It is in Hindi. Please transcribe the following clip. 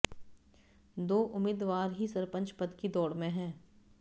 दो उम्मीदवार ही सरपंच पद की दौड़ में हैं